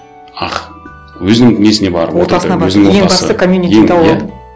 ах өзінің несіне барды ең басты коммьюнити тауып алды